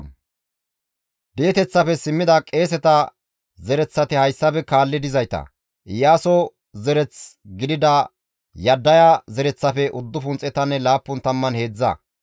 Di7eteththafe simmida Lewe zereththati hayssafe kaalli dizayta; Hoddaye zereth gidida Iyaasoppenne Qadim7eele zereththafe 704.